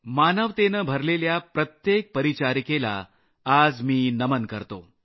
मानवतेने भरलेल्या प्रत्येक परिचारिकेला आज मी नमन करतो